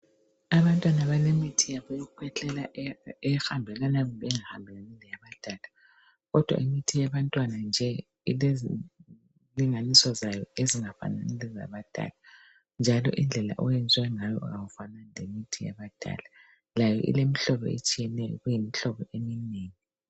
Abantwana bale mithi yabo yokukhwehlela ehambelana kumbe engahambelani leyabadala. Kodwa imithi yabantwana nje ilezilinganiso zayo ezingafanani lezabadala njalo indlela oyenziwe ngayo awufanani lemithi yabadala. Layo ilemihlobo etshiyeneyo kuyimihlobo eminengi.